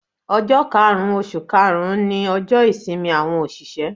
Ojọ́ karùn-ún oṣù karùn-ún ni ọjọ́ ìsinmi àwọn òṣìṣẹ́.